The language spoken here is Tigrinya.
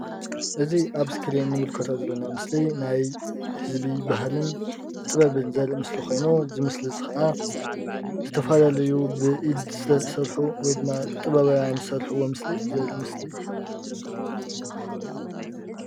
እዚ ኣብ ስክሪን ንምልከቶ ዘሎና ምስሊ ናይ ህዝቢ ባህልን ጥበብን ዘርኢ ምስሊ ኮይኑ እዚ ምስሊ እዚ ከዓ ዝተፈላለዩ ብኢድ ዝተሰርሑ ወይድማ ጥበባውያን ዝሰርሕዎ ምስሊ ዘርኢ ምስሊ እዩ።